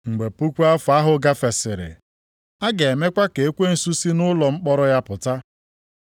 Mgbe puku afọ ahụ gafesịrị, a ga-emekwa ka ekwensu si nʼụlọ mkpọrọ ya pụta.